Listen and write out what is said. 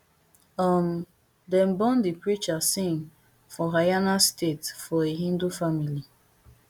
um dem born di preacher singh for haryana state for a hindu family